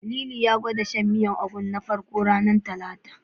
Lili ya gwada shan miyar ganyen Ugu na farko, ranar Talata.